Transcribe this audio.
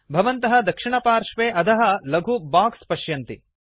भवन्तः दक्षिणपार्श्वे अधः लघु बोक्स् पश्यन्ति